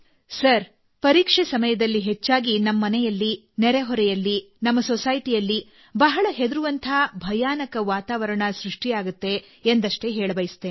sir ಪರೀಕ್ಷೆ ಸಮಯದಲ್ಲಿ ಹೆಚ್ಚಾಗಿ ನಮ್ಮ ಮನೆಗಳಲ್ಲಿ ನೆರೆಹೊರೆಯಲ್ಲಿ ನಮ್ಮ ಸಮಾಜದಲ್ಲಿ ಬಹಳ ಹೆದರಿಕೆಯ ಮತ್ತು ಭೀತಿಯ ವಾತಾವರಣ ಸೃಷ್ಟಿಯಾಗುತ್ತದೆ ಎಂಬುದನ್ನು ಹೇಳಬಯಸುತ್ತೇನೆ